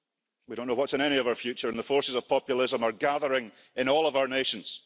We don't know what's in any of our future, and the forces of populism are gathering in all of our nations.